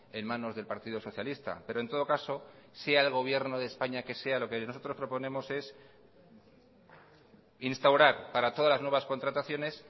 en manos del partido socialista pero en todo caso sea el gobierno de españa que sea lo que nosotros proponemos es instaurar para todas las nuevas contrataciones